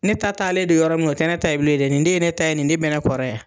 Ne ta t'ale de yɔrɔ nga o tɛ ne ta ye bilen dɛ nin de ye ne ta ye nin de bɛ ne kɔrɔ yan.